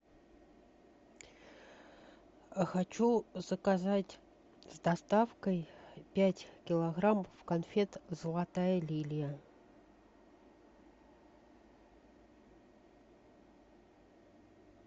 хочу заказать с доставкой пять килограммов конфет золотая лилия